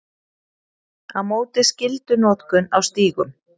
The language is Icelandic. Á móti skyldunotkun á stígum